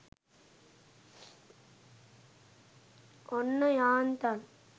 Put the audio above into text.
ඔන්න යාන්තන්